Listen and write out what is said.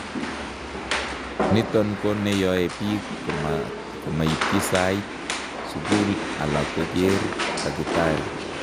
Niton ko neyoe biik komaityi kasit, sukul ala kogeer takitari